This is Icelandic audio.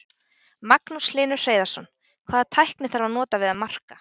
Magnús Hlynur Hreiðarsson: Hvaða tækni þarf að nota við að marka?